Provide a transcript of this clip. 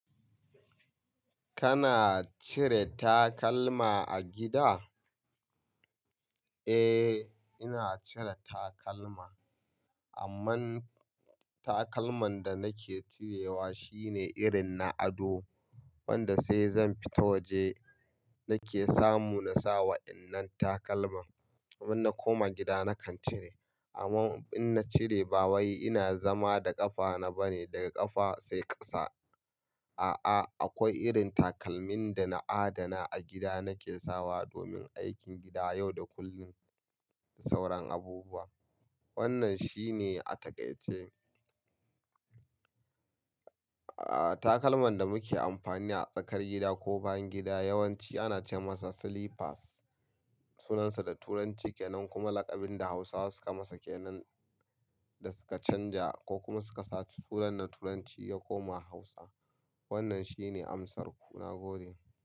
Kana cire takalma a gida? Eh, ina cire takalma. Amma takalman da nake cirewa shine irin na ado, wanda sai zan fita waje nake samu na sawa dinnan takalma. Amma in na koma gida nakan cire. Amma in na cire ba wai ina zama da ƙafa na bane, daga ƙafa sai ƙasa. A'a, akwai irin takalmin da na adana a gida nake sawa domin aikin gida yau da kullum, sauran abubuwa. Wannan shine a takaice. Aa, takalman da muke amfani a tsakar gida ko bayan gida yawanci ana ce masa "slippers", sunansa da turanci kenan kuma laƙabin da Hausawa suka masa kenan da suka canja ko kuma suka saki sunan na turanci ya koma Hausa. Wannan shine amsar ku, na gode.